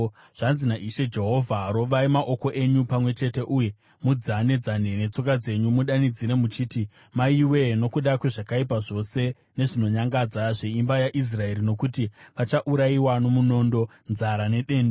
“ ‘Zvanzi naIshe Jehovha: Rovai maoko enyu pamwe chete uye mudzane-dzane netsoka dzenyu mudanidzire muchiti, “Maiwe!” nokuda kwezvakaipa zvose nezvinonyangadza zveimba yaIsraeri, nokuti vachaurayiwa nomunondo, nzara nedenda.